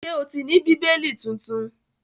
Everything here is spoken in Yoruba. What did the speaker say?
Ṣé o ti ní Bíbélì tuntun?